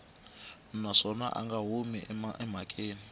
naswona a nga humi emhakeni